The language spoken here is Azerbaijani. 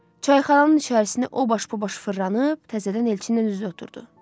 Çayxananın içərisini o baş bu baş fırlanıb təzədən Elçinlə üzbəüz oturdu.